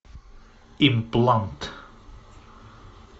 имплант